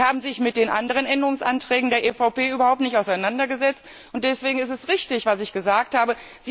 Aber Sie haben sich mit den anderen Änderungsanträgen der EVP überhaupt nicht auseinandergesetzt. Und deswegen ist es richtig, was ich gesagt habe.